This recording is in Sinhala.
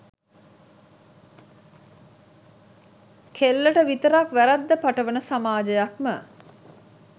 කෙල්ලට විතරක් වැරැද්ද පටවන සමාජයක්ම